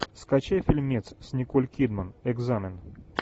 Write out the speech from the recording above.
скачай фильмец с николь кидман экзамен